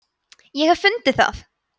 ég hef fundið það!